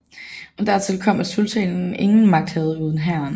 Og dertil kom at sultanen ingen magt havde uden hæren